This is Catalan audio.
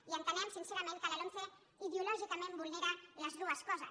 i entenem sincerament que la lomce ideològicament vulnera les dues coses